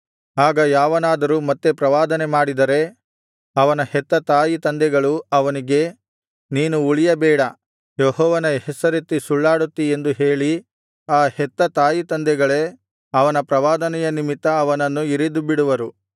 ಆಗ ಯಾವನಾದರೂ ಮತ್ತೆ ಪ್ರವಾದನೆಮಾಡಿದರೆ ಅವನ ಹೆತ್ತ ತಾಯಿತಂದೆಗಳು ಅವನಿಗೆ ನೀನು ಉಳಿಯಬೇಡ ಯೆಹೋವನ ಹೆಸರೆತ್ತಿ ಸುಳ್ಳಾಡುತ್ತಿ ಎಂದು ಹೇಳಿ ಆ ಹೆತ್ತ ತಾಯಿತಂದೆಗಳೇ ಅವನ ಪ್ರವಾದನೆಯ ನಿಮಿತ್ತ ಅವನನ್ನು ಇರಿದುಬಿಡುವರು